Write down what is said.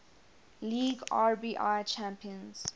league rbi champions